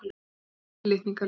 Hvílík fyrirlitning á lífinu.